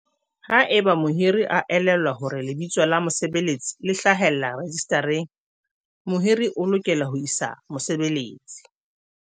"Haeba mohiri a elellwa hore lebitso la mosebeletsi le hlahellla rejistareng, mohiri o lokela ho isa mosebeletsi"